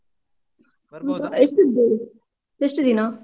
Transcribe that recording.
ನೋಡ್ವಾ. ಎಷ್ಟಿದ್ದಾರೆ? ಎಷ್ಟು ದಿನ?